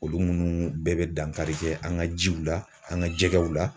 Olu munnu bɛɛ bɛ dankari kɛ an ka jiw la an ka jɛgɛw la.